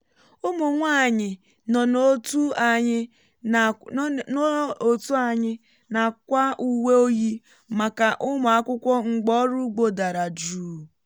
ụmụ nwanyị nọ n’òtù anyị na-akwa uwe oyi maka ụmụ akwụkwọ mgbe ọrụ ugbo dara jụụ